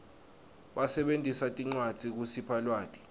basebentisa tincwadzi kusipha lwati